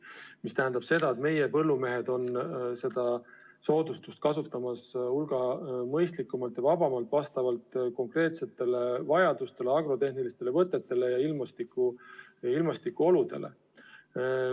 See tähendab seda, et meie põllumehed kasutavad seda soodustust hulga mõistlikumalt ja vabamalt, vastavalt konkreetsetele vajadustele, agrotehnilistele võtetele ja ilmastikuoludele.